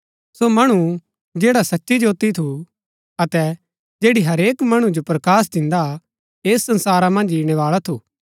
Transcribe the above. सो मणु जैड़ा सच्ची ज्योती थू अतै जैड़ी हरेक मणु जो प्रकाश दिन्दा हा ऐस संसारा मन्ज ईणैबाळा थू